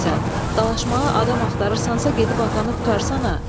Dalaşmağa adam axtarırsansa gedib atanı qurtarsana.